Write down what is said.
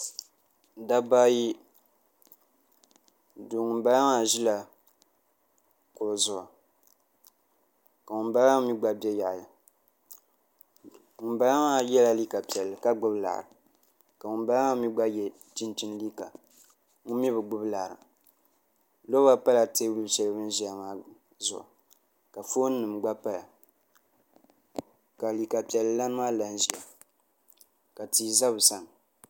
dabba ayi ŋunbala maa ʒila kuɣu zuɣu ka ŋunbala maa mii gba bɛ yaɣali ŋunbala maa yɛla liiga piɛlli ka gbubi laɣari ka ŋunbala maa mii gba yɛ chinchin liiga ŋun mii bi gbubi laɣari loba pala teebuli shɛli bini ʒiya maa zuɣu ka foon nim gba paya ka liiga piɛlli lan maa la n ʒiya ka tia bɛ bi sani